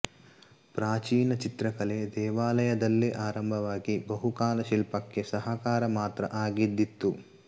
ಪ್ರಾಚೀನ ಚಿತ್ರಕಲೆ ದೇವಾಲಯದಲ್ಲೇ ಆರಂಭವಾಗಿ ಬಹುಕಾಲ ಶಿಲ್ಪಕ್ಕೆ ಸಹಕಾರಿ ಮಾತ್ರ ಆಗಿದ್ದಿತು